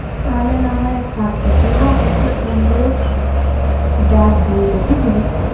তাইলে না হয় এক কাজ কর তুই না ওকে একটা সুন্দর ব্যাগ দিয়ে দে বুঝলি